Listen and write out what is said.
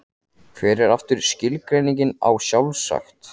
Hver er aftur skilgreiningin á sjálfsagt?